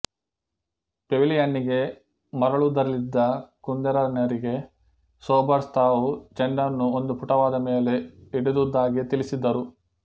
ಪೆವಿಲಿಯನ್ನಿಗೆ ಮರಳುವುದರಲ್ಲಿದ್ದ ಕುಂದೆರನ್ನರಿಗೆ ಸೋಬರ್ಸ್ ತಾವು ಚೆಂಡನ್ನು ಒಂದು ಪುಟವಾದ ಮೇಲೆ ಹಿಡಿದುದದ್ದಾಗಿ ತಿಳಿಸಿದರು